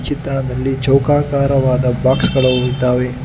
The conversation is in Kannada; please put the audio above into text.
ಚಿತ್ರಣದಲ್ಲಿ ಚೌಕಾಕಾರವಾದ ಬಾಕ್ಸ್ ಗಳು ಇದ್ದಾವೆ.